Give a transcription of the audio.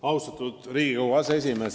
Austatud Riigikogu aseesimees!